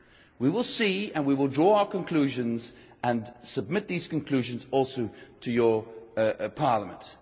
We will see, and we will draw our conclusions and submit these conclusions also to Parliament.